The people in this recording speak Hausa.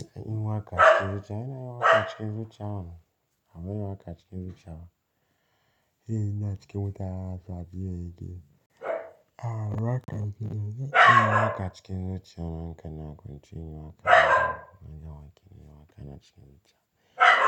Ina yin waƙa acikin zuciya? Ina yin waƙa acikin zuciya mana Abin yi wa kacikin zuciya. Yi na cikin wuta har zuwa biyayya yake. A raka zuciya. Ina yi wa kacikin zuciya. Nakan kwance, in yi wa kai. Ina yi wa kai, ina yi wa kai na cikin zuciya.